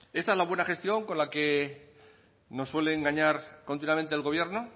esta es la buena gestión con la que nos suele engañar continuamente el gobierno